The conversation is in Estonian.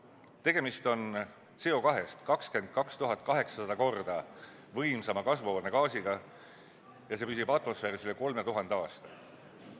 Tegemist on CO2-st 22 800 korda võimsama kasvuhoonegaasiga ja see püsib atmosfääris üle 3000 aasta.